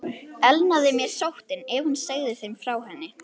Elnaði mér sóttin, ef hún segði þeim frá henni?